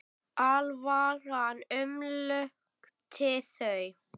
Alvaran umlukti þau.